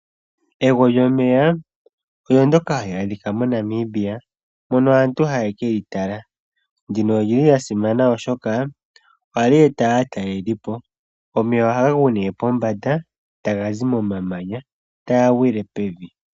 Egwo lyomeya olyo ndyoka halyi aadhika moNamibia mono aantu haye kelyitala ndino olyili lyasimana oshoka ohalyi eta aatalelipo, omeya ohaga gu ne pombanda tagazi momamanya taga gwile pevi